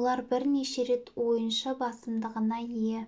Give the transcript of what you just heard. олар бірнеше рет ойыншы басымдығына ие